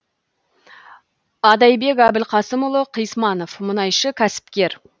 адайбек әбілқасымұлы қисманов мұнайшы кәсіпкер